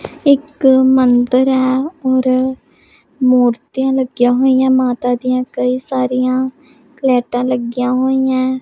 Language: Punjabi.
ਇੱਕ ਮੰਦਿਰ ਹੈ ਔਰ ਮੂਰਤੀਆਂ ਲੱਗੀਆਂ ਹੋਈਆਂ ਮਾਤਾ ਦੀਆਂ ਕਈ ਸਾਰੀਆਂ ਲਾਈਟਾਂ ਲੱਗੀਆਂ ਹੋਈਆਂ।